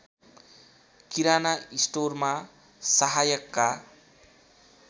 किराना स्टोरमा सहायकका